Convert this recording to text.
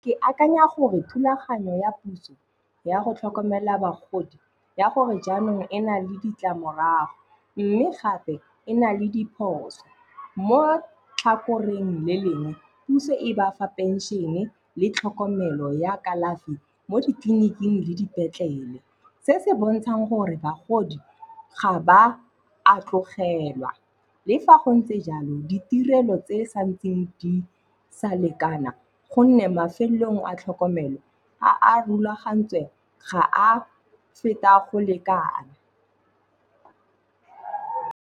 Ke akanya gore thulaganyo ya puso ya go tlhokomela bagodi ya gore jaanong e na le ditlamorago. Mme gape e na le diphoso. Mo tlhakoreng le lengwe, puso e ba fa pension-e le tlhokomelo ya kalafi mo ditleliniking le dipetlele. Se se bontshang gore bagodi ga ba atlogelwa. Le fa go ntse jalo, ditirelo tse di sa ntseng di sa lekana gonne mafelong a tlhokomelo a a rulagantsweng ga a feta go lekana.